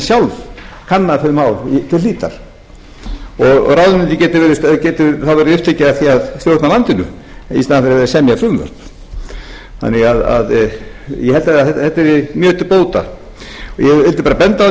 sjálf kannað þau mál til hlítar og ráðuneytið gæti þá verið upptekið af því að stjórna landinu í staðinn fyrir að semja frumvörp ég held að þetta yrði mjög til bóta ég vildi bara benda